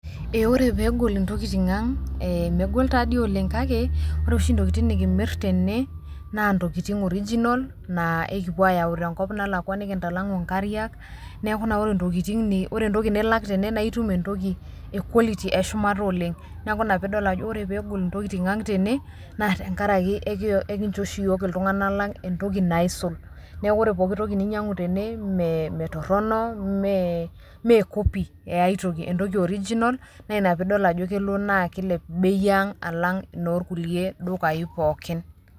Eee ore peyie egol intokitin ang, megol taa dii oleng kake ore oshi intokitin nikimir tene naa intokitin original nikipu aayau tenkop nalakua nikintalangu ingariak. Niaku ore intokitin, ore entoki nilak tene naa itum entoki e quality eshumata oleng. Niaku ina paa ore peyie egol intokitin ang tene naa tenkaraki ekincho oshi iyiook iltunganak lang entoki naisul niaku ore entoki ninyiangu tene ime toron, imeee kopi eai toki entoki original naa ina pee idol ajo keilp bei ang alang inoorkulie dukayi pook